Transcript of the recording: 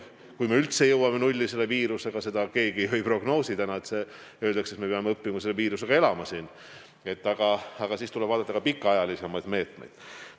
Kui me üldse jõuame nulli selle viirusega – seda keegi ju ei prognoosi, vaid öeldakse, et me peame õppima selle viirusega elama –, siis tuleb vaadata ka pikemaajalisemaid meetmeid.